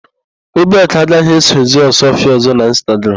Obiakụ agaghì esozi Ọsụọfịa ọ̀zọ́ n'Ịnstagram.